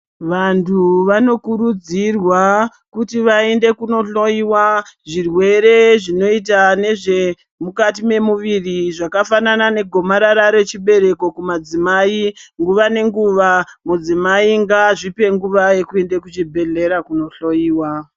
Vantu vano kurudzirwa kuti vaende kunohloyiwa zvirwere zvinoita nezvemukati memuviri zvakafnana negomarara rechibereko kumadzimai nguva nenguva mudzimai ngaazvipe nguva yekuenda kuchibhedhlera kuno hloyiwa.